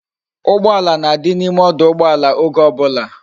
Ugbala na di na ime ọdụ̀ụgbọàlà oge obula